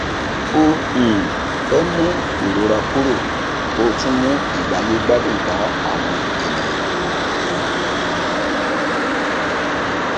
ó um fẹ mú ìrora kúrò kó tún mú ìgbáyé gbádùn bá àwọn ènìyàn